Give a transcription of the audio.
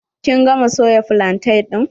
Kin gama soya flantain ɗin?